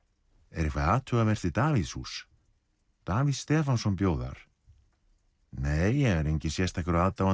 er eitthvað athugavert við Davíðshús Davíð Stefánsson bjó þar nei ég er enginn sérstakur aðdáandi